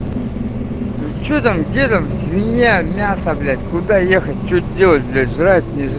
ну что там где там свинья мясо блять куда ехать что делать бля жрать н ежрать